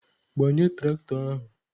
Gbanye traktọ ahụ!